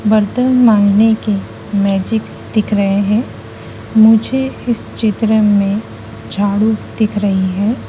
बर्तन मांगने के मैजिक दिख रहे हैं मुझे इस चित्र में झाडू दिख रही है।